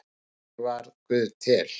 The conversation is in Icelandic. Hvernig varð guð til?